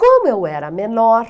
Como eu era menor...